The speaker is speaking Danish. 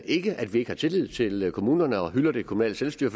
ikke at vi ikke har tillid til kommunerne og hylder det kommunale selvstyre